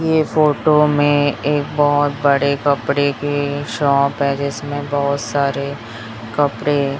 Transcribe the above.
ये फोटो में एक बहोत बड़े कपड़े की शॉप है जिसमें बहोत सारे कपड़े--